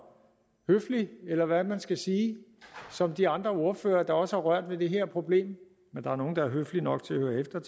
høflig eller hvad man skal sige som de andre ordførere der også har rørt ved det her problem men der er nogle der er høflige nok til at høre efter